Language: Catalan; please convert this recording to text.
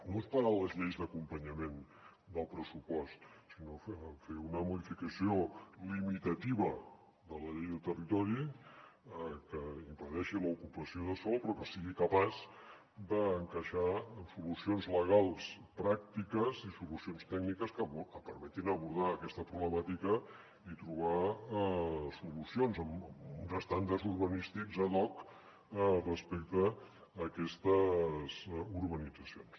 no esperar les lleis d’acompanyament del pressupost sinó fer una modificació limitativa de la llei de territori que impedeixi l’ocupació de sòl però que sigui capaç d’encaixar doncs solucions legals pràctiques i solucions tècniques que permetin abordar aquesta problemàtica i trobar solucions uns estàndards urbanístics ad hoc respecte a aquestes urbanitzacions